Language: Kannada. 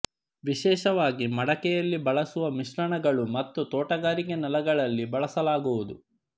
ವಿಶೇಷವಾಗಿ ಮಡಿಕೆಯಲ್ಲಿ ಬಳಸುವ ಮಿಶ್ರಣಗಳು ಮತ್ತು ತೋಟಗಾರಿಕೆ ನೆಲಗಳಲ್ಲಿ ಬಳಸಲಾಗುವುದು